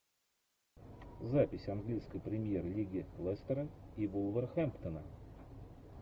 запись английской премьер лиги лестера и вулверхэмптона